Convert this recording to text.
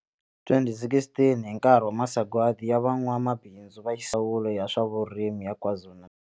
2016 hi nkarhi wa Masagwadi ya Van'wamabindzu Ndzawulo ya swa Vurimi ya Kwazulu-Natal.